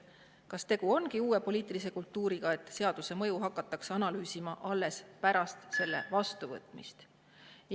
Kas tegu ongi uue poliitilise kultuuriga, et seaduse mõju hakatakse analüüsima alles pärast selle vastuvõtmist?